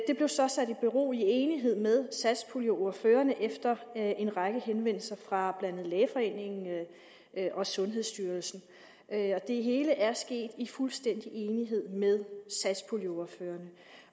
det blev så sat i bero i enighed med satspuljeordførerne efter en række henvendelser fra blandt andet lægeforeningen og sundhedsstyrelsen det hele er sket i fuldstændig enighed med satspuljeordførerne